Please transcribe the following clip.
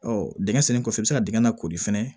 dingɛ sennen kɔfɛ i bɛ se ka dingɛ lakori fɛnɛ